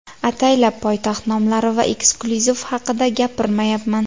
Ataylab poytaxt nomlari va eksklyuziv haqida gapirmayapman.